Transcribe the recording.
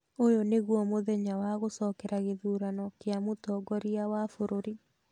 ũyũ nĩguo mũthenya wa gũcokera gĩthurano kĩa mũtongoria wa bũrũri.